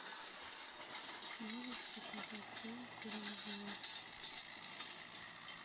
можешь показать фильм тиранозавр